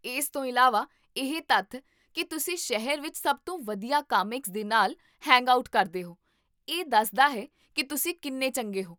ਇਸ ਤੋਂ ਇਲਾਵਾ, ਇਹ ਤੱਥ ਕੀ ਤੁਸੀਂ ਸ਼ਹਿਰ ਵਿੱਚ ਸਭ ਤੋਂ ਵਧੀਆ ਕਾਮਿਕਸ ਦੇ ਨਾਲ ਹੈਂਗਆਊਟ ਕਰਦੇ ਹੋ, ਇਹ ਦੱਸਦਾ ਹੈ ਕੀ ਤੁਸੀਂ ਕਿੰਨੇ ਚੰਗੇ ਹੋ